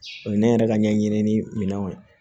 O ye ne yɛrɛ ka ɲɛɲini ni minɛnw ye